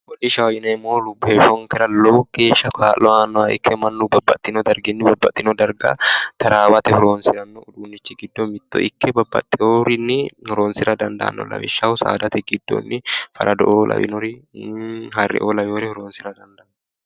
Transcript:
Hodhishshaho yinneemmohu heeshshonkera lowo geeshsha kaa'lo aanoha ikkanna mannu babbaxino bayichinni babbaxino darga tarawate horonsiranorichi giddo mitto ikke babbaxeyorini horonsira dandaano lawishshaho saadate giddoni faraddo'o lawinore harreo lawinore horonsira dandaano.